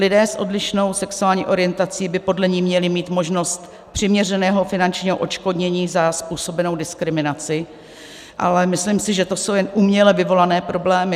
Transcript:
Lidé s odlišnou sexuální orientací by podle ní měli mít možnost přiměřeného finančního odškodnění za způsobenou diskriminaci, ale myslím si, že to jsou jen uměle vyvolané problémy.